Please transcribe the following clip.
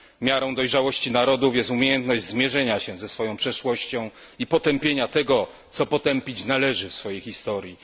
Miarą dojrzałości narodów jest umiejętność zmierzenia się ze swoją przeszłością i potępienia tego, co potępić należy w swojej historii.